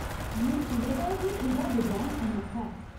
में सुने दा ऐ जे एह्दा डजैन अनोखा ऐ।